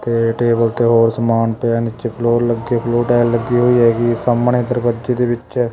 ਤੇ ਟੇਬਲ ਤੇ ਹੋਰ ਸਮਾਨ ਪਿਆ ਨੀਚੇ ਫਲੋਰ ਲੱਗੇ ਬਲੂ ਟਾਇਲ ਲੱਗੀ ਹੋਈ ਹੈਗੀ ਸਾਹਮਣੇ ਦਰਗਜੇ ਦੇ ਵਿੱਚ--